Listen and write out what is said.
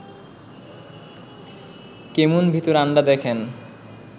কেমুন ভীতুর আন্ডা দ্যাখেন